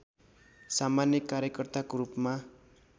सामान्य कार्यकर्ताको रूपमा